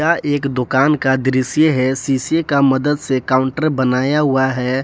यह एक दुकान का दृश्य है शीशे का मदद से काउंटर बनाया हुआ है।